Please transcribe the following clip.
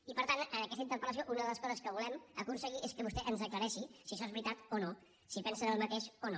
i per tant en aquesta interpel·lació una de les coses que volem aconseguir és que vostè ens aclareixi si això és veritat o no si pensen el mateix o no